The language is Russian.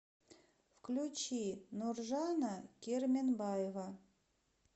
включи нуржана керменбаева